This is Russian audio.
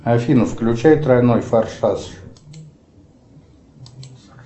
афина включай тройной форсаж